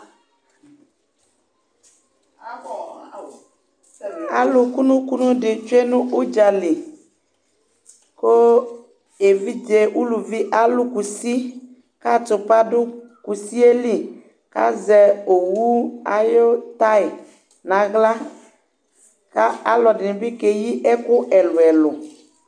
Alu kunu kunu di tsué nu udjali Ku évidjé uluvi alu kusi ka atupa du kusiéli , ka zɛ owu ayi tay na aɣla Ka ɔlɔdini bikéyi ɛku ɛlu ɛlu